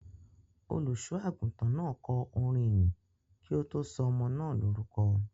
Olùṣọ́-àgùntàn náà kọ orin ìyìn kí ó tó sọ ọmọ náà lórúkọ.